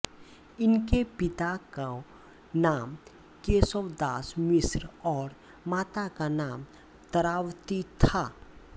इनके पिता को नाम केशवदास मिश्र और माता का नाम तारावती था